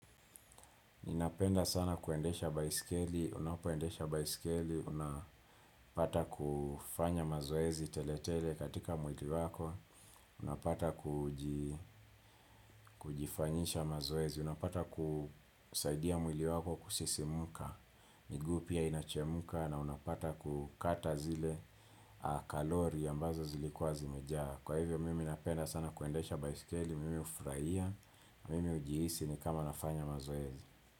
Ninapenda sana kuendesha baisikeli, unapoendesha baisikeli, unapata kufanya mazoezi tele tele katika mwili wako, unapata kujifanyisha mazoezi, unapata kusaidia mwili wako kusisimka, miguu pia inachemka na unapata kukata zile kalori ambazo zilikuwa zimejaa. Kwa hivyo mimi napenda sana kuendesha baisikeli, mimi hufraia, mimi ujiisi ni kama nafanya mazoezi.